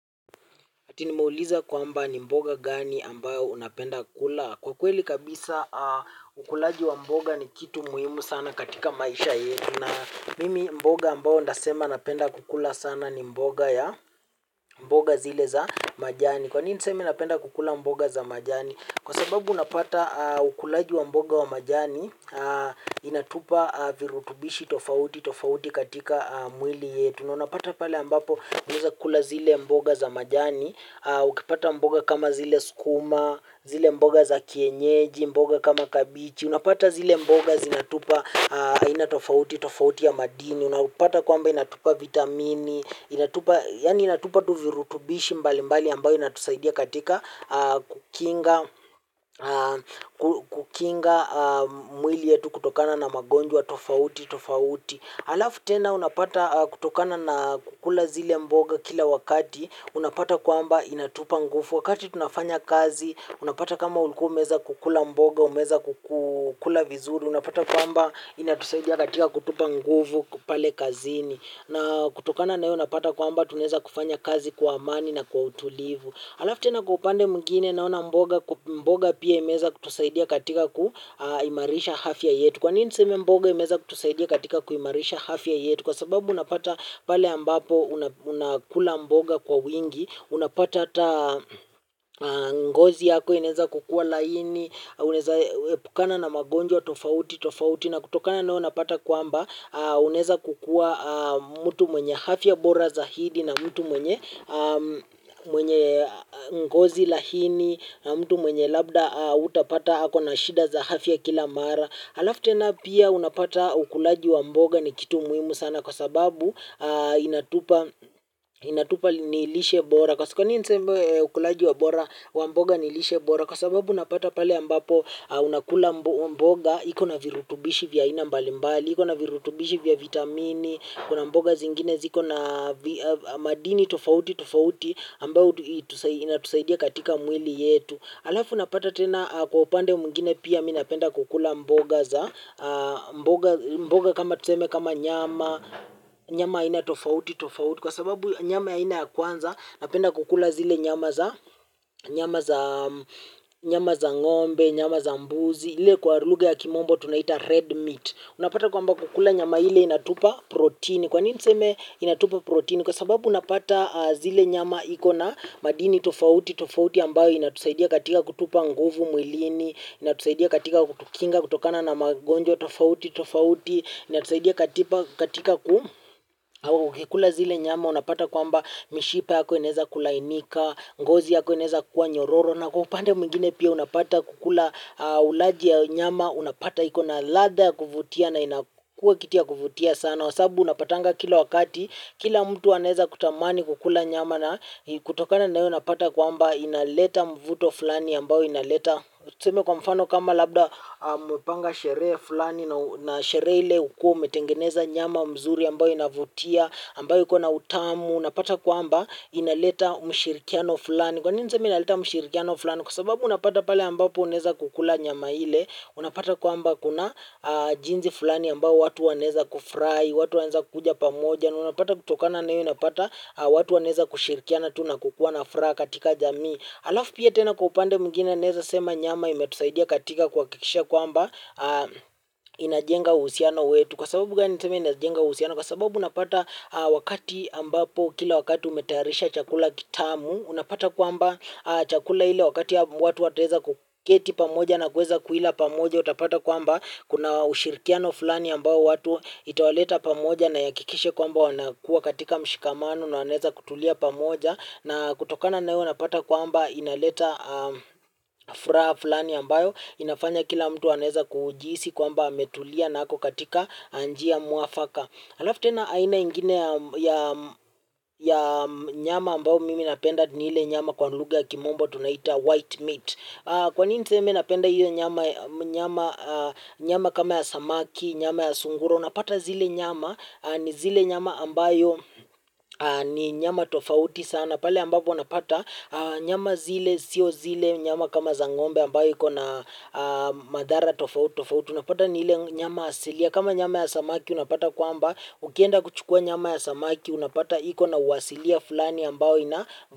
Ati nimeulizwa kwamba ni mboga gani ambayo unapenda kula? Kwa kweli kabisa ukulaji wa mboga ni kitu muhimu sana katika maisha yetu. Na mimi mboga ambayo ndasema napenda kukula sana ni mboga ya mboga zile za majani. Kwa nini nisemi napenda kukula mboga za majani? Kwa sababu unapata ukulaji wa mboga wa majani inatupa virutubishi tofauti tofauti katika mwili yetu. Unapata pale ambapo unaeza kula zile mboga za majani. Ukipata mboga kama zile skuma, zile mboga za kienyeji, mboga kama kabichi. Unapata zile mboga zinatupa aina tofauti, tofauti ya madini. Unapata kwamba inatupa vitamini. Yaani inatupa tu virutubishi mbali mbali ambayo inatusaidia katika kukinga mwili yetu kutokana na magonjwa, tofauti, tofauti. Alafu tena unapata kutokana na kukula zile mboga kila wakati, unapata kwamba inatupa ngufu. Wakati tunafanya kazi, unapata kama ulikuwa umeweza kukula mboga, umeweza kukula vizuri. Unapata kwamba inatusaidia katika kutupa ngufu pale kazini. Na kutokana nayo, unapata kwamba tunaeza kufanya kazi kwa amani na kwa utulivu. Alafu tena kupande mwingine naona mboga, mboga pia imeweza kutusaidia katika kuimarisha hafya yetu. Kwa nini niseme mboga imeweza kutusaidia katika kuimarisha hafya yetu? Kwa sababu unapata pale ambapo unakula mboga kwa wingi, unapata hata ngozi yako, inaeza kukua laini. Unaeza epukana na magonjwa tofauti, tofauti. Na kutokana nao unapata kwamba, unaeza kukua. Mtu mwenye hafya bora zaidi na mtu mwenye, mwenye ngozi lahini. Mtu mwenye labda hutapata ako na shida za hafya kila mara. Alafu tena pia unapata ukulaji wa mboga. Ni kitu muhimu sana. Kwa sababu inatupa inatupa ni lishe bora. Kwa nini niseme ukulaji wa mboga nilishe bora. Kwa sababu unapata pale ambapo unakula mboga. Iko na virutubishi vya aina mbalimbali. Iko na virutubishi vya vitamini kuna mboga zingine ziko na madini tofauti tofauti ambao inatusaidia katika mwili yetu alafu unapata tena kwa upande mwingine pia mie napenda kukula mboga za mboga kama tuseme kama nyama nyama aina tofauti tofauti kwa sababu nyama aina ya kwanza napenda kukula zile nyama za nyama za ngombe, nyama za mbuzi ili kwa lugha ya kimombo tunaita red meat unapata kwa kwamba kukula nyama ile inatupa protini. Kwa nini niseme inatupa protini. Kwa sababu unapata zile nyama ikona madini tofauti, tofauti ambayo inatusaidia katika kutupa nguvu mwilini, inatusaidia katika kutukinga kutokana na magonjwa tofouti, tofouti, inatusaidia katika ku ukikula zile nyama unapata kwamba mishipa yako inaeza kulainika, ngozi yako inaeza kuwa nyororo. Na kupande mwingine pia unapata kukula ulaji ya nyama unapata iko na latha ya kuvutia na inakua kitu kuvutia sana kwa sababu unapatanga kila wakati kila mtu aneza kutamani kukula nyama na kutokana na hiyo unapata kwamba inaleta mvuto fulani ambao inaleta tuseme kwa mfano kama labda mumepanga sherehe fulani na sherehe ulikuwa umetengeneza nyama mzuri ambao inavutia ambayo iko na utamu. Unapata kwamba inaleta mshirikiano fulani. Kwa nini niseme inaleta mshirikiano fulani? Kwa sababu unapata pale ambapo unaeza kukula nyama ile. Unapata kwamba kuna jinsi fulani ambapo watu wanaeza kufurahi, watu wanaeza kuja pamoja. Unapata kutokana na hiyo unapata watu wanaeza kushirikiana, tu na kukuwa na furaha katika jamii. Alafu pia tena kwa upande mwingine naeza sema nyama imetusaidia katika kwa kuakikisha kwamba inajenga uhusiano wetu. Kwa sababu gani niseme inajenga uhusiano? Kwa sababu unapata wakati ambapo kila wakati umetayarisha chakula kitamu unapata kwamba chakula hile wakati ya watu wataeza kuketi pamoja na kueza kuila pamoja unapata kwamba kuna ushirikiano fulani ambayo watu itawaleta pamoja na iyakikishe kwamba wanakuwa katika mshikamano na wanaeza kutulia pamoja na kutokana na hiyo unapata kwamba inaleta furaha fulani ambayo inafanya kila mtu anaeza kujihisi kwamba ametulia na ako katika njia mwafaka. Alafu tena aina ingine ya ya nyama ambao mimi napenda ni ile nyama kwa lugha ya kimombo tunaita white meat. Kwa nini niseme napenda ile nyama ya nyama kama ya samaki, nyama ya sungura, unapata zile nyama ni zile nyama ambayo ni nyama tofauti sana. Pale ambapo unapata nyama zile, sio zile, nyama kama za ngombe ambayo iko na madhara tofouti tofouti. Unapata ni ile nyama asilia. Kama nyama ya samaki unapata kwamba ukienda kuchukua nyama ya samaki unapata iko na uasilia fulani ambayo ina.